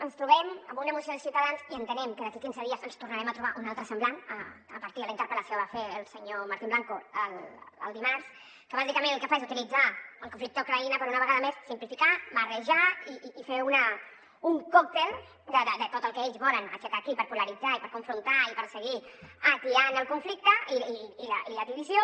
ens trobem amb una moció de ciutadans i entenem que d’aquí quinze dies ens en tornarem a trobar una altra semblant a partir de la interpel·lació que va fer el senyor martín blanco dimarts que bàsicament el que fa és uti·litzar el conflicte a ucraïna per una vegada més simplificar barrejar i fer un còctel de tot el que ells volen aixecar aquí per polaritzar i per confrontar i perseguir atiant el conflicte i la divisió